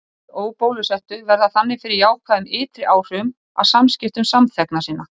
Hinir óbólusettu verða þannig fyrir jákvæðum ytri áhrifum af samskiptum samþegna sinna.